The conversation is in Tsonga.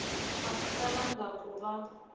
a swi talangi ku va